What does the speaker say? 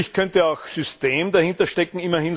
Natürlich könnte auch System dahinterstecken.